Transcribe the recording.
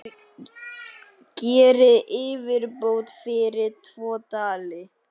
Gerið yfirbót fyrir tvo dali!